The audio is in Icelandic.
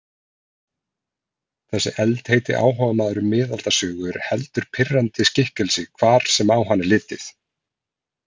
Þessi eldheiti áhugamaður um miðaldasögu er heldur pirrandi skikkelsi hvar sem á hann er litið.